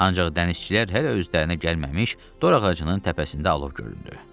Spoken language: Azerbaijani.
Ancaq dənizçilər hələ özlərinə gəlməmiş dorağacının təpəsində alov göründü.